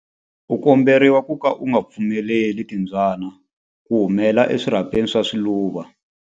U komberiwa ku ka u nga pfumeleli timbyana ku humela eswirhapeni swa swiluva.